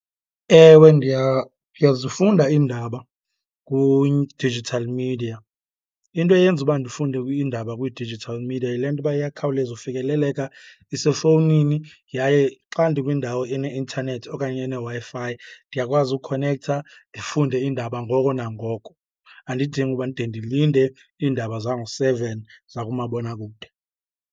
Ewe ndiyazifunda iindaba digital media. Into eyenza uba ndifunde kuyo iindaba kwi-digital media yile nto uba iyakhawuleza ufikeleleka, isefowunini yaye xa ndikwindawo eneintanethi okanye eneWi-Fi, ndiyakwazi ukhonektha ndifunde iindaba ngoko nangoko. Andidingi uba ndide ndilinde iindaba zango-seven zakumabonakude.